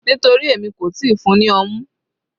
Nítorí èmi kò tíì fún-un ní ọmú.